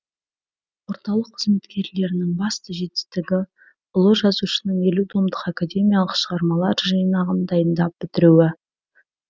орталық қызметкерлерінің басты жетістігі ұлы жазушының елу томдық академиялық шығармалар жинағын дайындап бітіруі